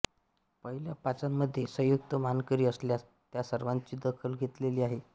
पहिल्या पाचांमध्ये संयुक्त मानकरी असल्यास त्या सर्वांची दखल घेतलेली आहे